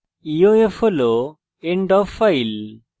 eof হল end of file